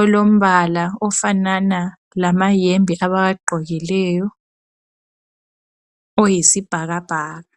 olombala ofanana lamahembe abawagqokileyo oyisibhakabhaka.